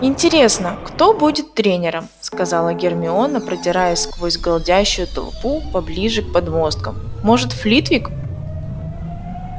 интересно кто будет тренером сказала гермиона продираясь сквозь галдящую толпу поближе к подмосткам может флитвик